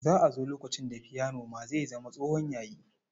Za a zo lokacin da fiyanon ma zai zama tsohon yayi.